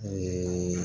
Ee